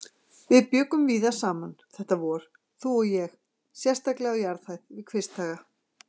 VIÐ BJUGGUM VÍÐA SAMAN þetta vor, þú og ég, sérstaklega á jarðhæð við Kvisthaga.